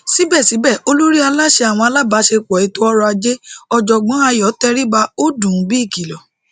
síbẹsíbẹ olórí aláṣẹ àwọn alábàáṣẹepọ ètòọrọajé ọjọgbọn ayọ tẹríba ó dùn ún bí ìkìlọ